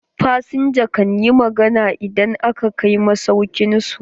Fasinjan kan yi magana idan aka kai masauƙin su.